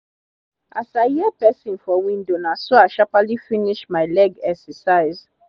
as i hear pesin for window naso i sharperly finis my leg exercise